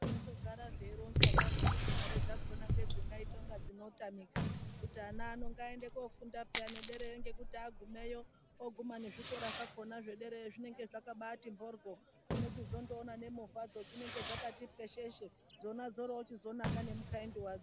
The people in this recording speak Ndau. Zvinondogara zveironzwa zvazvo kuti mari dzakhona ngedzinga ite kunga dzinotamika kuti ana ano ngaando kofunda peyaa nederayo ngekuti agumayo Oguma nezvikora zvakhona zvedera zvakati mhoryo, munochizondo nemovha dzo dzinenge dzakati pwesheshe. Dzona dzorochinaka ngekukaindinwadzo.